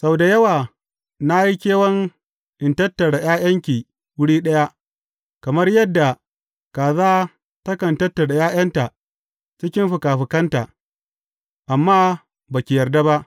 Sau da yawa na yi kewan in tattara ’ya’yanki wuri ɗaya, kamar yadda kaza takan tattara ’ya’yanta cikin fikafikanta, amma ba ki yarda ba!